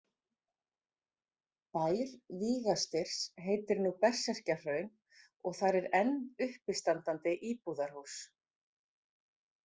Bær Víga- Styrrs heitir nú Berserkjahraun og þar er enn uppistandandi íbúðarhús.